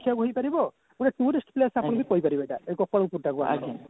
ଦେଖିବାକୁ ହୋଇପାରିବ ଗୋଟେ tourist place ଆପଣ ବି କହିପାରିବେ ଏଇଟା ଏଇ ଗୋପାଳପୁର ଟାକୁ ଆମର